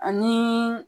Ani